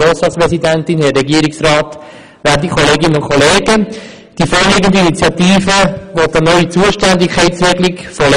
Die vorliegende Initiative will eine neue Zuständigkeitsregelung für Lehrpläne.